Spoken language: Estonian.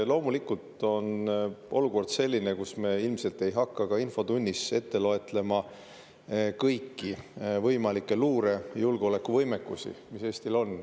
Loomulikult on olukord selline, kus me ilmselt ei hakka ka infotunnis ette lugema kõiki võimalikke luure- ja julgeolekuvõimekusi, mis Eestil on.